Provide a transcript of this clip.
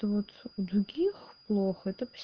то вот у других плохо это пос